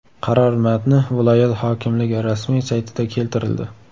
Qaror matni viloyat hokimligi rasmiy saytida keltirildi .